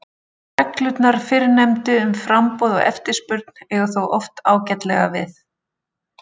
Reglurnar fyrrnefndu um framboð og eftirspurn eiga þó oft ágætlega við.